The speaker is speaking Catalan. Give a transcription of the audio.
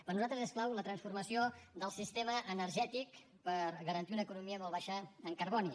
per nosaltres és clau la transformació del sistema energètic per garantir una econòmica molt baixa en carboni